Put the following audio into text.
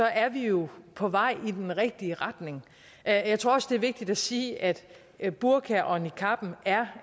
er vi jo på vej i den rigtige retning jeg jeg tror også det er vigtigt at sige at at burkaen og niqabben er